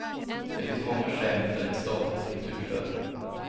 Det finns många skäl för ett statligt kulturstöd.